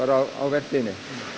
á vertíðinni